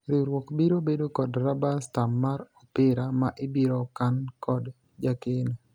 riwruok biro bedo kod raba stam mar opira ma ibiro kan kod jakeno